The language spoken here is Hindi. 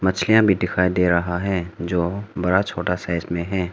मछलियां भी दिखायी दे रहा है जो बड़ा छोटा साइज़ में है।